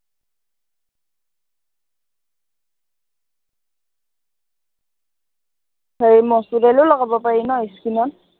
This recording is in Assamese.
হেৰি মচুৰ দালিও লগাব পাৰি ন skin ত